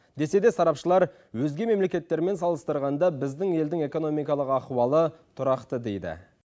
десе де сарапшылар өзге мемлекеттермен салыстырғанда біздің елдің экономикалық ахуалы тұрақты дейді